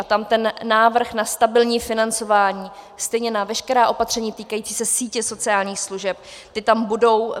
A tam ten návrh na stabilní financování, stejně na veškerá opatření týkající se sítě sociálních služeb, ty tam budou.